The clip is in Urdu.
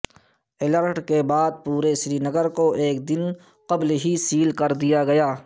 الرٹ کے بعد پورے سرینگر کو ایک دن قبل ہی سیل کر دیا گیا